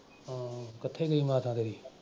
ਹਾਂ ਕਿੱਥੇ ਗਈ ਮਾਤਾ ਤੇਰੀ?